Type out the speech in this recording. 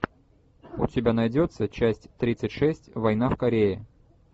у тебя найдется часть тридцать шесть война в корее